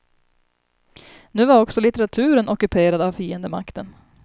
Nu var också litteraturen ockuperad av fiendemakten.